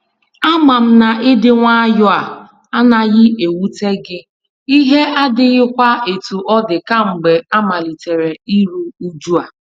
Ama m na ịdị nwayọ a anaghị ewute gị, ihe adighịkwa etu ọ dị kamgbe amalitere iru uju a.